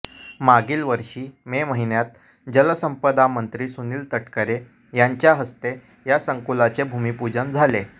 मागील वर्षी मे महिन्यात जलसंपदामंत्री सुनील तटकरे यांच्या हस्ते या संकुलाचे भूमिपूजन झाले